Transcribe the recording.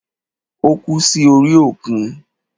Ó kú sí orí òkun.